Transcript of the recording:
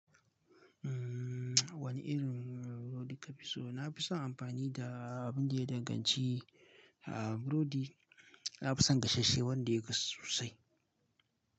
Umm, wane irin burodi ka fi so? Na fi son amfani da abun da ya danganci, ah burodi na fi son gasasshe wanda ya kasu sosai.